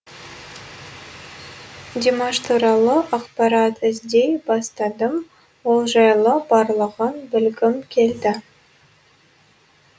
димаш туралы ақпарат іздей бастадым ол жайлы барлығын білгім келді